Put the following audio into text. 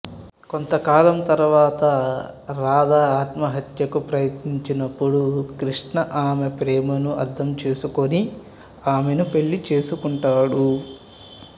కొంతకాలం తర్వాత రాధ ఆత్మహత్యకు ప్రయత్నించినపుడు కృష్ణ ఆమె ప్రేమను అర్థం చేసుకుని ఆమెను పెళ్ళి చేసుకుంటాడు